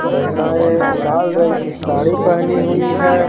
महिलाएं लाल रंग की साड़ी पहनी हुई है।